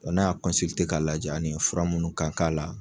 O n'a k'a lajɛ ani fura minnu ka k'an la